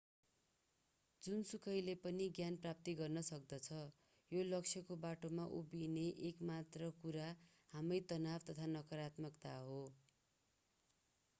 जोसुकैले पनि ज्ञान प्राप्त गर्न सक्दछ यो लक्ष्यको बाटोमा उभिने एक मात्र कुरा हामै तनाव तथा नकारात्मकता हो